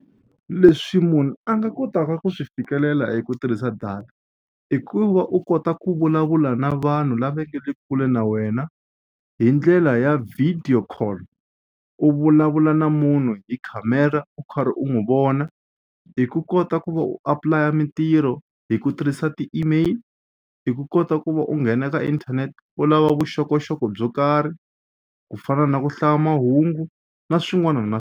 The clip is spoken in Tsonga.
Leswi munhu a nga kotaka ku swi fikelela hi ku tirhisa data i ku va u kota ku vulavula na vanhu lava nga le kule na wena hi ndlela ya video call u vulavula na munhu hi khamera u karhi u n'wi vona hi ku kota ku va u apply-a mitirho hi ku tirhisa ti-email i ku kota ku va u nghena ka internet u lava vuxokoxoko byo karhi ku fana na ku hlaya mahungu na swin'wana na.